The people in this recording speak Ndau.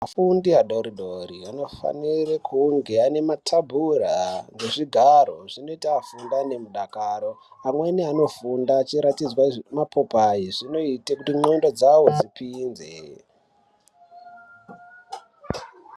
Afundi adoridori anofanire kunge ane mathabhura nezvigaro. Zvinoita afunde nemudakaro. Amweni anofunda echiratidzwe zvimapopai, zvinoita ndxondo dzavo dzipinze.